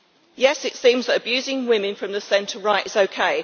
Yes, it seems that abusing women from the centre right is OK.